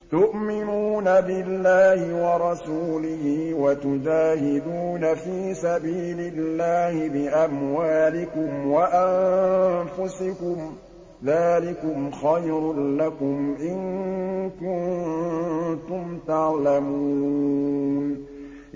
تُؤْمِنُونَ بِاللَّهِ وَرَسُولِهِ وَتُجَاهِدُونَ فِي سَبِيلِ اللَّهِ بِأَمْوَالِكُمْ وَأَنفُسِكُمْ ۚ ذَٰلِكُمْ خَيْرٌ لَّكُمْ إِن كُنتُمْ تَعْلَمُونَ